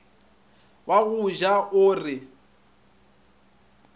wa go ja o re